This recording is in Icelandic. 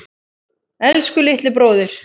Elsku litli bróðir.